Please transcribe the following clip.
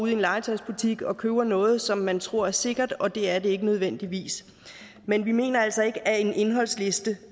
i en legetøjsbutik og købe noget som man tror er sikkert og det er det ikke nødvendigvis men vi mener altså ikke at en indholdsliste